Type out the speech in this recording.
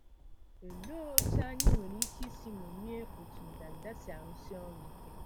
Olee otú anyị nwere ike isi ṅomie otú ndanda si arụsi ọrụ ike?